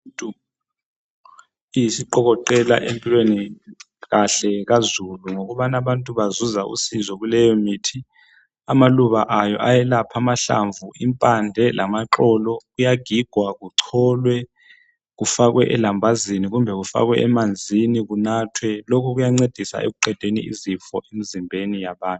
Isiqokoqela empilweni kahle kazulu yikubana abantu bazuza usizo kuleyomithi amaluba ayo ayelapha amahlamvu impande lamaxolo kuyagigwa kucholwe kufakwe elambazini kumbe emanzini kunathwe lokhu kuyancedisa ekuqedeni izifo emizimbeni yabantu.